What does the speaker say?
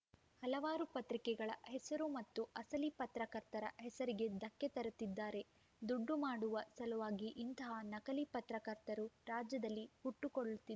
ಹಲವಾರು ಪತ್ರಿಕೆಗಳ ಹೆಸರು ಮತ್ತು ಅಸಲಿ ಪತ್ರಕರ್ತರ ಹೆಸರಿಗೆ ಧಕ್ಕೆ ತರುತ್ತಿದ್ದಾರೆ ದುಡ್ಡು ಮಾಡುವ ಸಲುವಾಗಿ ಇಂತಹ ನಕಲಿ ಪತ್ರಕರ್ತರು ರಾಜ್ಯದಲ್ಲಿ ಹುಟ್ಟುಕೊಳ್ಳುತ್ತಿ